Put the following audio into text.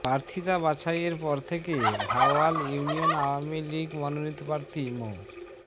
প্রার্থিতা বাছাইয়ের পর থেকে ভাওয়াল ইউনিয়ন আওয়ামী লীগ মনোনীত প্রার্থী মো